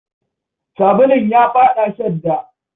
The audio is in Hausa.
Sabulun ya faɗa shadda.